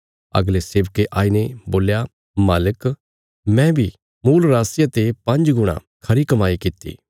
अगले सेवके आईने बोल्या मालिक मैं बी मूल राशिया ते पांज गुणा खरी कमाई कित्ती